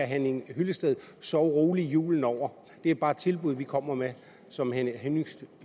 herre henning hyllested sove roligt julen over det er bare et tilbud vi kommer med som herre henning